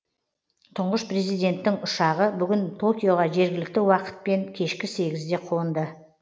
тұңғыш президенттің ұшағы бүгін токиоға жергілікті уақытпен кешкі сегізде қонды